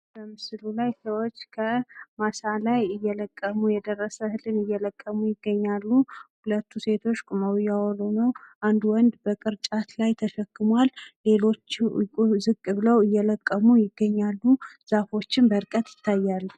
ምስሉ ላይ ሰዎች ከማሳ ላይ እየለቀሙ ከማሳ ላይ የደረሰ እህልን እየለቀሙ ይገኛሉ። ሁለቱ ሴቶች ቁመው እያወሩ ነው። አንዱ ወንድ በቅርጫት ላይ ተሸክሟል ለሌሎችም ዝቅ ብለው እየለቀሙ ይገኛሉ። ዛፎችም በርቀት ይታያሉ።